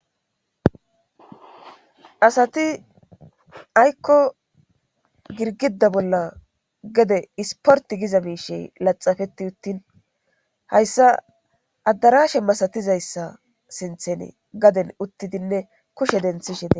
asati aykko girgida bolla gede isporti giza miishey laxafeti uttin hayssa addarashe masatizayssa sinthene gaden uttidinne kushe denthishede